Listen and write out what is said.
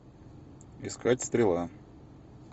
искать стрела